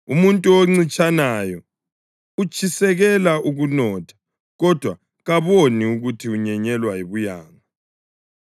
Umuntu oncitshanayo utshisekela ukunotha kodwa kaboni ukuthi unyenyelwa yibuyanga.